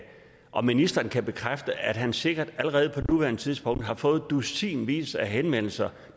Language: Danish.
om ministeren kan bekræfte at han sikkert allerede på nuværende tidspunkt har fået dusinvis af henvendelser